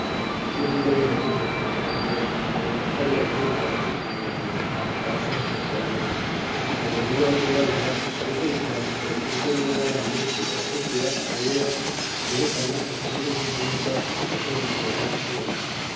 ishure ry'indabigisha ryo kumutanga ryobakishije amatafari ahiye kuva hasi gushika hejuru hasi hashashe amabuye imbere kurubaho gwirabura hariko ibyandiko isiza n'amabara menshi aratukura ayera byerekana urutonde rw'ibyigwa bazokurikirana muriyondwe